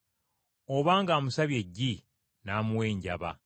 Oba ng’amusabye eggi n’amuwa enjaba?